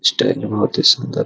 style बहुत ही सुंदर --